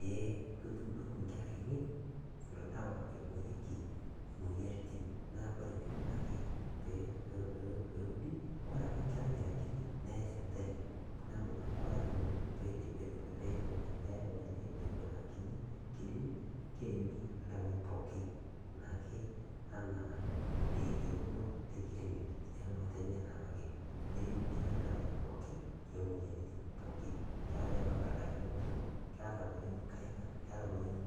Eee ketuudoki nkera ainei ilo dawa naiborieki imoyiaritin naa kore neikunaki peudi, Kesidai oleng enchorota nachor ngotenye nkerai amu kore naa nkerai keyeu, kore sesen le nkerai kenana naa kekumok nyamaliritin naatum. Kore taa iltikana otiuaa ilmaasae otiuwaa ilo tokitin oojing looshori ,oojing nkejek nejing nkaik, nejing' sunta, naaku kore ngotonye nenare